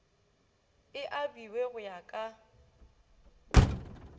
e abiwe go ya ka